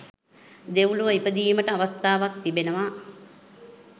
දෙව්ලොව ඉපදීමට අවස්ථාවක් තිබෙනවා.